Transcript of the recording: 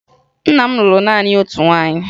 Nna m lụrụ naanị otu nwaanyị